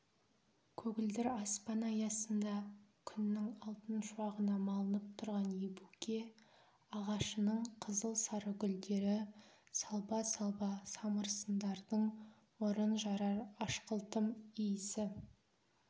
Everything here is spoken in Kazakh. көгілдір аспан аясында күннің алтын шуағына малынып тұрған ебуке ағашының қызыл-сары гүлдері салба-салба самырсындардың мұрын жарар ашқылтым иісі